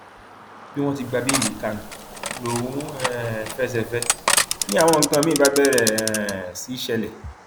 bí wọn ti gba béèlì kánú lòún um fẹsẹ fẹ ẹ ni àwọn nǹkan míín bá bẹrẹ um sí ṣẹlẹ